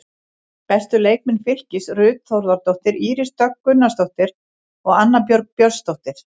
Bestu leikmenn Fylkis: Ruth Þórðardóttir, Íris Dögg Gunnarsdóttir og Anna Björg Björnsdóttir.